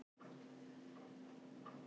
Jafnir eftir fyrri níu